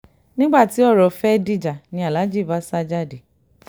nígbà tí ọ̀rọ̀ fẹ́ẹ́ dìjà ni aláàjì bá sá jáde